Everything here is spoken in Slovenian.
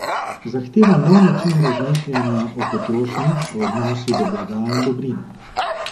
Zahteva nov način razmišljanja o potrošnji, o odnosu do blaga in dobrin.